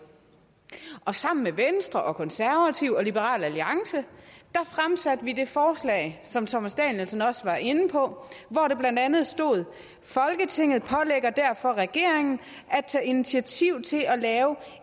og sammen med venstre og konservative og liberal alliance fremsatte vi det forslag som herre thomas danielsen også var inde på hvor der blandt andet stod folketinget pålægger derfor regeringen at tage initiativ til at lave